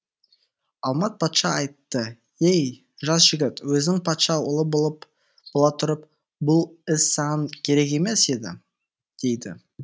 алмат патша айтты ей жас жігіт өзің патша ұлы бола тұрып бұл іс саған керек емес еді дейді